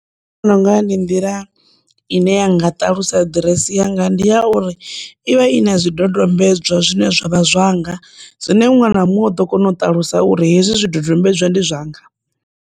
Nṋe ndi vhona unga ndi nḓila ine ya nga ṱalusa ḓiresi yanga ndi ya uri ivha ina zwidodombedzwa zwine zwa vha zwanga zwine muṅwe na muṅwe u ḓo kona u ṱalusa uri hezwi zwi dodombedzwa ndi zwanga.